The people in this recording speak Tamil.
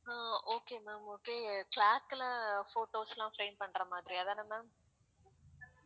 அஹ் okay ma'am okay clock ல photos லாம் frame பண்ற மாதிரி அதான ma'am